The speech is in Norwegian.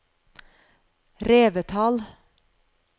Revetal